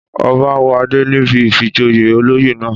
Ọba wọ adé níbi ìfijoyè olóyè náà.